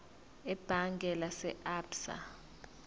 ebhange lase absa